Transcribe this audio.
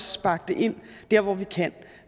sparke det ind der hvor vi kan